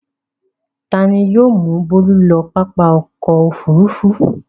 Ta ni yóò mú Bólú lọ pápá ọkọ̀-òfurufú.